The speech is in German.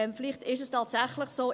Vielleicht ist es tatsächlich so.